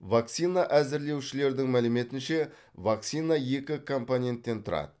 вакцина әзірлеушілердің мәліметінше вакцина екі компоненттен тұрады